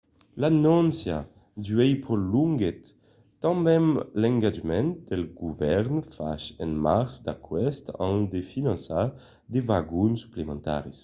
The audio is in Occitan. l’anóncia d’uèi prolonguèt tanben l’engatjament del govèrn fach en març d’aqueste an de finançar de vagon suplementaris